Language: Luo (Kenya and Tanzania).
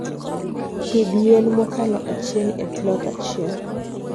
pidh yien mokalo achiel e plot achiel